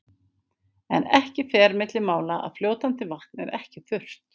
En ekki fer milli mála að fljótandi vatn er ekki þurrt.